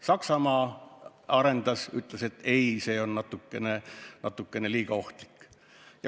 Saksamaa ütles, et ei, see on natuke liiga ohtlik.